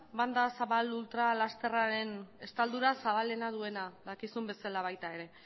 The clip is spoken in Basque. banda zabal ultra lasterraren estaldura zabalena duena dakizuen bezala baita ere